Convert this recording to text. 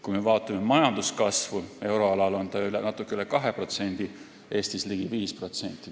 Kui me vaatame majanduskasvu euroalal, siis see on natuke üle 2%, Eestis ligi 5%.